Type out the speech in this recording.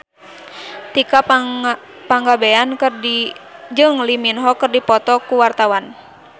Tika Pangabean jeung Lee Min Ho keur dipoto ku wartawan